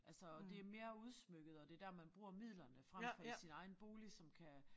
Altså og det mere udsmykket og det der man bruger midlerne frem for sin egen bolig som kan